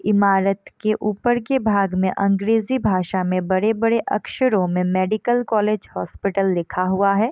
इमारत के ऊपर के भाग में अंग्रेजी भाषा में बड़े-बड़े अक्षरों में मेडिकल कॉलेज हॉस्पिटल लिखा हुआ है।